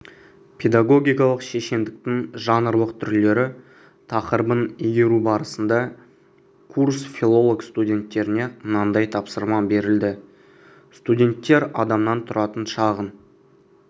педагогикалық шешендіктің жанрлық түрлері тақырыбын игеру барысында курс филолог-студенттеріне мынадай тапсырма берілді студенттер адамнан тұратын шағын